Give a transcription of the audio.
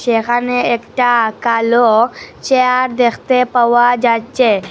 এখানে একটা কালো চেয়ার দেখতে পাওয়া যাচ্ছে।